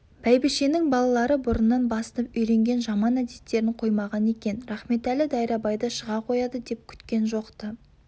бәйбішенің балалары бұрыннан басынып үйренген жаман әдеттерін қоймаған екен рахметәлі дайрабайды шыға қояды деп күткен жоқ-ты